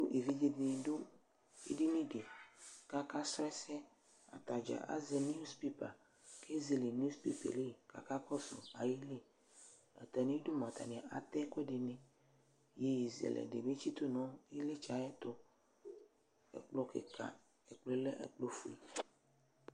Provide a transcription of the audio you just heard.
Evidze dɩnɩ dʋ edini dɩ kʋ akasrɔ ɛsɛ Ata dza azɛ niwuspepa kʋ ezele niwuspepa yɛ li kʋ akakɔsʋ ayili Atamɩdu mʋa, atanɩ atɛ ɛkʋɛdɩnɩ, iyeyezɛlɛnɩ bɩ tsɩtʋ nʋ ɩɣlɩtsɛ yɛ ayɛtʋ, ɛkplɔ kɩka, ɛkplɔ yɛ lɛ ɛkplɔfue